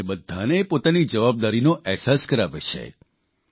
જે આપણને બધાને પોતાની જવાબદારીનો અહેસાસ કરાવે છે